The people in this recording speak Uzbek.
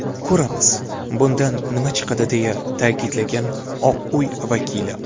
Ko‘ramiz, bundan nima chiqadi”, deya ta’kidlagan Oq uy vakili.